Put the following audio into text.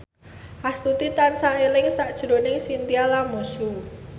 Astuti tansah eling sakjroning Chintya Lamusu